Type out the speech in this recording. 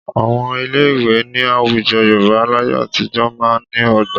Àwọn ilé ìwé ní àwùjọ Yorùbá láyé àtijọ́ máa ń ní ọgbà